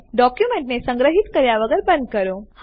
ડોક્યુમેન્ટને સંગ્રહિત કર્યા વગર બંધ કરો